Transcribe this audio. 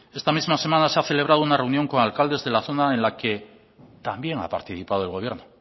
esta misma semana se ha celebrado una reunión con alcaldes de la zona en la que también ha participado el gobierno